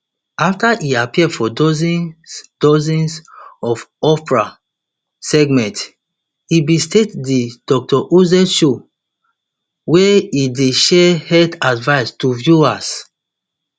afta e appear for dozens dozens of oprah segments e bin start di dr oz show wia e dey share health advice to viewers